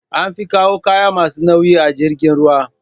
An fi kawo kayan masu nauyi ta jirgin ruwa